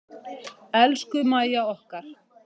Elsku Mæja okkar.